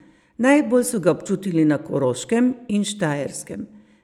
Najbolj so ga občutili na Koroškem in Štajerskem.